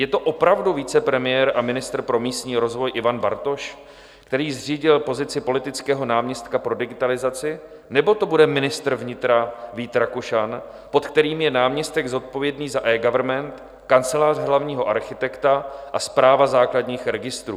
Je to opravdu vicepremiér a ministr pro místní rozvoj Ivan Bartoš, který zřídil pozici politického náměstka pro digitalizaci nebo to bude ministr vnitra Vít Rakušan, pod kterým je náměstek zodpovědný za eGovernment, Kancelář hlavního architekta a Správa základních registrů?